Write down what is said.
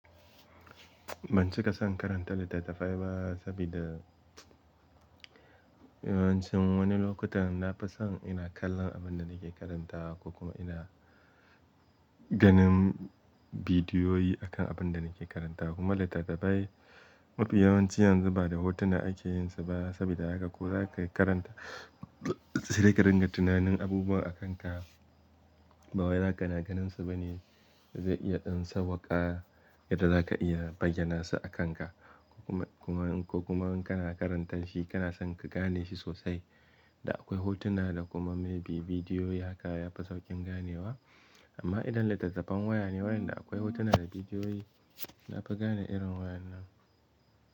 Ban cika son karanta littattafai ba sabida yawancin wani lokutan nafi son ina kallon abin da nake karanta ko kuma ina ganin Bidiyoyi akan abin da nake karanta. Kuma littattafai mafi yawanci yanzu ba da hotuna ake yin su ba sabida haka ko za karanta sai ka ringa tunanin abubuwa a kanka. Ba wai za kana ganin su bane. Zai iya dan sauwaka yadda za ka iya bayyana su a kan ka ko kuma in kana karanta shi kana son ka gane shi sosai. Da akwai hotuna da kuma maybe bidiyoyi haka ya fi sauƙin ganewa. Amma idan littattafan waya ne waɗanda akwai hotuna da bidiyoyi, na fi gane irin wayan nan.